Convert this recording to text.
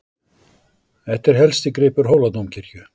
Þetta er helsti gripur Hóladómkirkju.